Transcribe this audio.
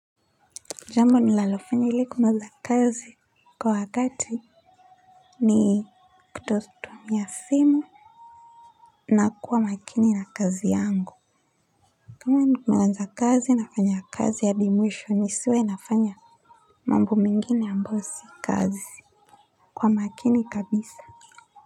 Jambo ninalofanya ilikumaliza kazi kwa wakati ni kutotumia simu na kuwa makini na kazi yangu kama nimeanza kazi nafanya kazi ya hadi mwisho nisiwe nafanya mambo mengine ambayo si kazi kwa makini kabisa.